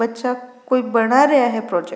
बच्चा कोई बना रेहा है प्रोजेक्ट ।